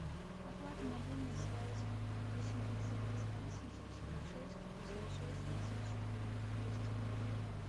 оплата мобильной связи восемь девятьсот двадцать три семьсот сорок шесть пятьдесят шесть тридцать четыре двести рублей